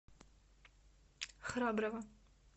храброво